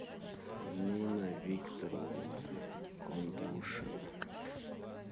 нина викторовна кондрушина